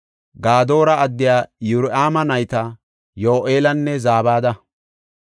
Gadoora addiya Yirohaama nayta Yo7eelanne Zabada.